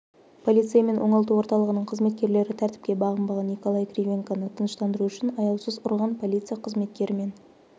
полицей мен оңалту орталығының қызметкерлері тәртіпке бағынбаған николай кривенконы тыныштандыру үшін аяусыз ұрған полиция қызметкері мен